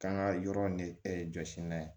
K'an ka yɔrɔ de jɔsi n'a ye